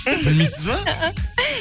білмейсіз ба